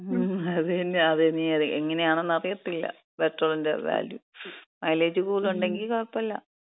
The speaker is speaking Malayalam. മ്, അതിനി എങ്ങനെയാണെന്ന് അറിയത്തില്ല. പെട്രോളിന്‍റെ വാല്യു, മൈലേജ് കൂടുതലൊണ്ടെങ്കി കൊഴപ്പമില്ല.